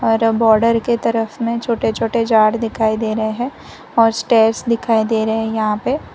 और बॉर्डर के तरफ में छोटे छोटे झाड़ दिखाई दे रहे हैं और स्टेयर्स दिखाई दे रहे हैं यहां पे --